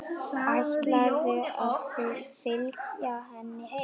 Ætlarðu að fylgja henni heim?